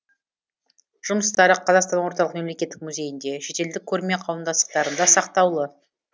жұмыстары қазақстан орталық мемлекеттік музейінде шетелдік көрме қауымдастықтарында сақтаулы